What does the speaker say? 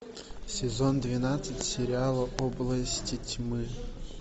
сезон двенадцать сериала области тьмы